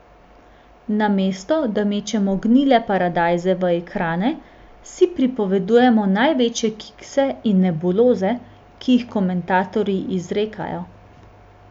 Namesto da mečemo gnile paradajze v ekrane, si pripovedujemo največje kikse in nebuloze, ki jih komentatorji izrekajo.